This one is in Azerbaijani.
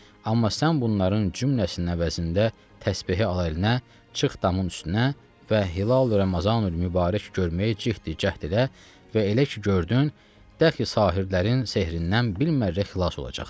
Amma sən bunların cümləsinin əvəzində təsbehi al əlinə, çıx damın üstünə və hilalı Ramazanül-mübarək görməyə cəhd elə və elə ki gördün, dəxi sahirdərin sehrindən bir mərrə xilas olacaqsan.